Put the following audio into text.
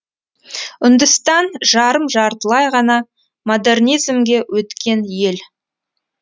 үндістан жарым жартылай ғана модернизмге өткен ел